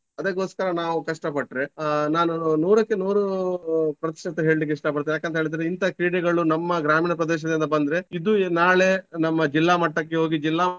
ಅದಕ್ಕೋಸ್ಕರ ನಾವು ಕಷ್ಟ ಪಟ್ರೆ ಆಹ್ ನಾನು ನೂರಕ್ಕೆ ನೂರು ಪ್ರತಿಷತ ಹೇಳ್ಲಿಕ್ಕೆ ಇಷ್ಟ ಪಡ್ತೇನೆ ಯಾಕಂತೇಳಿದ್ರೆ ಇಂತ ಕ್ರೀಡೆಗಳು ನಮ್ಮ ಗ್ರಾಮೀಣ ಪ್ರದೇಶದಿಂದ ಬಂದ್ರೆ ಇದು ನಾಳೆ ನಮ್ಮ ಜಿಲ್ಲಾ ಮಟ್ಟಕ್ಕೆ ಹೋಗಿ ಜಿಲ್ಲಾ ಮಟ್ಟದಿಂದ.